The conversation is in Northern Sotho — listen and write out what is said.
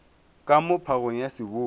ka moo phagong ya seboi